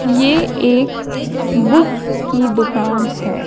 ये एक बुक की दुकान है।